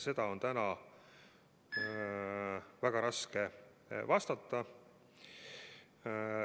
Sellele on täna väga raske vastata.